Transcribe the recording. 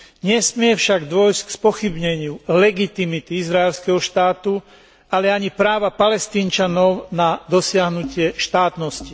Nesmie však dôjsť k spochybneniu legitimity izraelského štátu, ale ani práva Palestínčanov na dosiahnutie štátnosti.